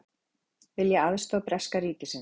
Vilja aðstoð breska ríkisins